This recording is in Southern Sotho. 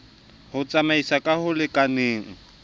ho tsamaisana ka ho lekanale